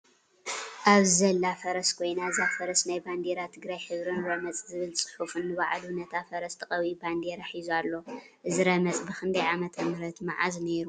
ኣብዚ ዘላ ፈረስ ኮይና እዛ ፈረስ ናይ ባንዴራ ትግራይ ሕብሪን ረመፅ ዝብል ፅሑፍ ንባዕሉን ነታ ፈረስ ተቀቢኡ ባንዴራ ሒዙ ኣሎ:: እዚ ረመፅ ብክንዳይ ዓመተምህረት መዓስ ነይሩ ?